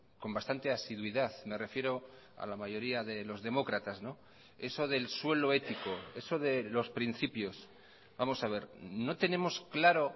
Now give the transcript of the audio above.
con bastante asiduidad me refiero a la mayoría de los demócratas eso del suelo ético eso de los principios vamos a ver no tenemos claro